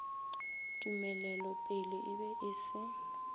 tumelelopele e be e se